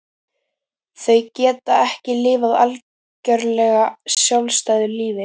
Þau geta ekki lifað algjörlega sjálfstæðu lífi.